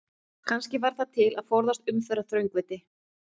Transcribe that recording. Kannski var það til að forðast umferðaröngþveiti?